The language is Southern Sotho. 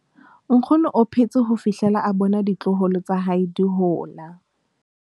nkgono o phetse ho fihlela a bona ditloholo tsa hae di hola